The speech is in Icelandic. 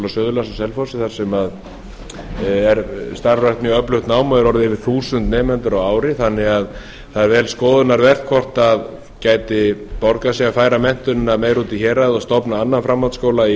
suðurlands á selfossi þar sem er starfrækt mjög öflugt nám og eru orðnir yfir þúsund nemendur ári þannig að það er vel skoðunarvert hvort gæti borgað sig að færa menntunina meira út í hérað og stofnað annan framhaldsskóla í